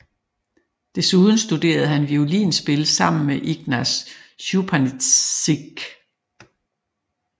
Desuden studerede han violinspil sammen med Ignaz Schuppanzigh